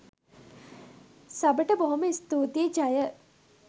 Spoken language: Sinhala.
සබට බොහොම ස්තූතියි ජය!